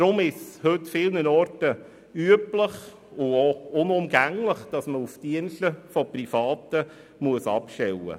Deshalb ist es heute vielerorts üblich und sogar unumgänglich, Dienste privater Anbieter in Anspruch zu nehmen.